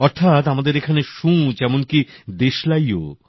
অর্থাৎ আমাদের এখানে সূঁচ এমনকি দেশলাইও বিদেশি জাহাজে করে আসে